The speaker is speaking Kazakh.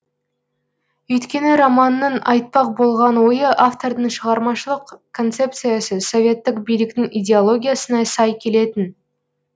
өйткені романның айтпақ болған ойы автордың шығармашылық концепциясы советтік биліктің идеологиясына сай келетін